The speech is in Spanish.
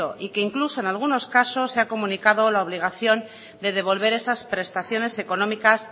y que incluso en algunos casos se ha comunicado la obligación de devolver esas prestaciones económicas